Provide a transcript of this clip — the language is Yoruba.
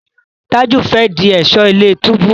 Taju fè dì Ẹ̀ṣọ́ ilé-túbú.